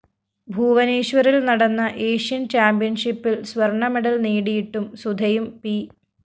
ഭൂവനേശ്വറില്‍ നടന്ന ഏഷ്യന്‍ ചാമ്പ്യന്‍ഷിപ്പില്‍ സ്വര്‍ണമെഡല്‍ നേടിയിട്ടും സുധയും പി